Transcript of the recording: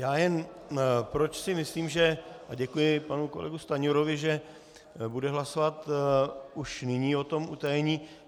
Já jen, proč si myslím, že - a děkuji panu kolegu Stanjurovi, že bude hlasovat už nyní o tom utajení.